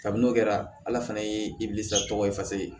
Kabini n'o kɛra ala fana ye tɔgɔ ye fasigi